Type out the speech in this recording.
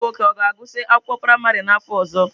Nwa gị nwoke ọ ga-agụsị akwụkwọ praịmarị n'afọ ọzọ?